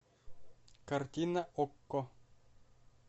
картина окко